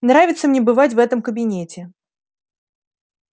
нравится мне бывать в этом кабинете